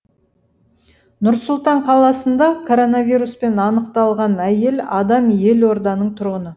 нұр сұлтан қаласында коронавируспен анықталған әйел адам елорданың тұрғыны